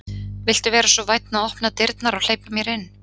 Viltu vera svo vænn að opna dyrnar og hleypa mér inn?